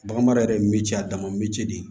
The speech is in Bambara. Baganmara yɛrɛ ye miiri a dama ni ce de ye